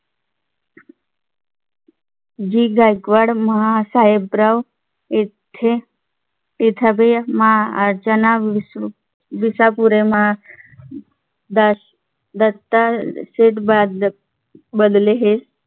जी गायकवाड महासाहेबराव येथे येथील महाअर्चना विसरून विष्या पुरे महा दास दत्ता शेठ बदलले हे